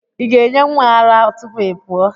ị ga-enye nwa ara ara tupu ị pụọ?